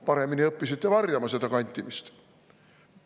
Paremini õppisite varjama seda kantimist.